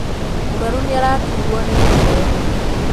Mũrwaru nĩaraturwo nĩmũtwe.